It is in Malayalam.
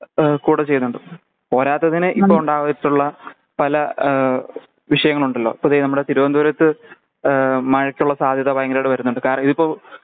ഏഹ് കൂടാ ചെയുന്നുണ്ട് പോരാത്തതിന് ഇപ്പൊ ഉണ്ടായിട്ടുള്ള പല ഏഹ് വിഷങ്ങളുണ്ടലോ ഇപ്പൊ ദേ നമ്മുടെ തിരവന്തപുരത്ത് ഏഹ് മഴകുള്ള സാധ്യത ഭയങ്കരായിട്ട് വരുന്നുണ്ട് കാര്യാതിപ്പോ